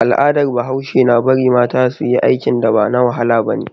Al'adar bahaushe na bari mata suyi aikin da ba na wahala bane